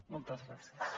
moltes gràcies